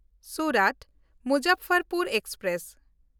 ᱥᱩᱨᱟᱛ–ᱢᱩᱡᱟᱯᱷᱚᱨᱯᱩᱨ express